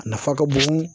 A nafa ka bon